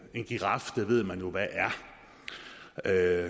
en giraf ved man jo hvad er